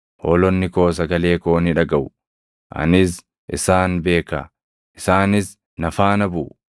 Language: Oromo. Hoolonni koo sagalee koo ni dhagaʼu; anis isaan beeka; isaanis na faana buʼu.